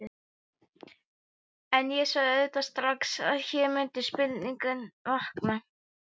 En ég sá auðvitað strax, að hér mundu spurningar vakna.